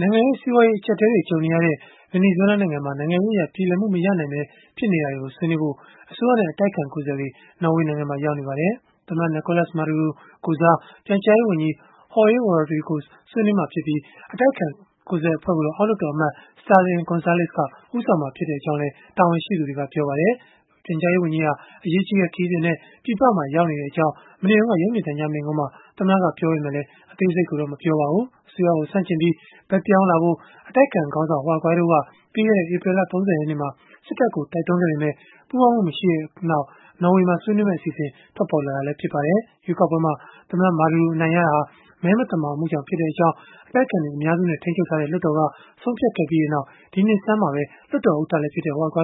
နိုင်ငံရေး စီးပွားရေး အကျပ်အတည်းတွေ ကြုံနေရတဲ့ ဗင်နီဇွဲလား နိုင်ငံရေးအရ ပြေလည်မှုမရနိုင်ဘဲ ဖြစ်နေတာတွေကို ဆွေးနွေးဖို့ အစိုးရနဲ့ အတိုက်အခံ ကိုယ်စားလှယ်တွေ နော်ဝေနိုင်ငံမှာ ရောက်နေကြပါတယ်။ သမ္မတ Nicolas Maduro ကိုယ်စား ပြန်ကြားရေးဝန်ကြီး Jorge Rodriguez ဆွေးနွေးမှာ ဖြစ်ပြီး အတိုက်အခံ ကိုယ်စားလှယ်အဖွဲ့ကိုတော့ လွှတ်တော် အမတ် Stalin Gonzalez က ဦးဆောင်မှာဖြစ်ကြောင်းလည်း တာဝန်ရှိသူတွေက ပြောပါတယ်။ ပြန်ကြားရေး ဝန်ကြီးဟာ အရေးကြီးတဲ့ ခရီးစဉ်နဲ့ ပြည်ပမှာ ရောက်ရှိနေကြောင်း မနေ့တုန်းက ရုပ်မြင်သံကြား မိန့်ခွန်းမှာ သမ္မတက ပြောဆိုထားပေမဲ့ အသေးစိတ်ကိုတော့ မပြောပါဘူး။ အစိုးရကို ဆန့်ကျင်ပြီး ဘက်ပြောင်းလာဖို့ အတိုက်အခံခေါင်းဆောင် Juan Guaido က ပြီးခဲ့တဲ့ ဧပြီလ ၃၀ ရက်နေ့မှာ စစ်တပ်ကို တိုက်တွန်းခဲ့ပေမဲ့ ပူးပေါင်းမှုမရှိခဲ့တဲ့နောက် နော်ဝေမှာ ဆွေးနွေးမယ့် အစီအစဉ် ပေါ်ပေါက်လာတာလည်း ဖြစ်ပါတယ်။ ရွေးကောက်ပွဲမှာ သမ္မတ Maduro အနိုင်ရတာဟာ မဲမသမာမှုကြောင့်ဖြစ်ကြောင်း အတိုက်အခံကအများစုနဲ့ ထိန်းချုပ်ထားတဲ့ လွှတ်တော်က ဆုံးဖြတ်ခဲ့ပြီးနောက် ဒီနှစ် ဆန်းမှာပဲ လွှတ်တော်ဥက္ကဋ္ဌလည်း ဖြစ်တဲ့ Guaido က